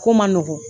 Ko man nɔgɔn